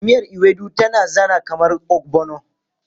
Miyar Ewedu tana zana kamar ogbono.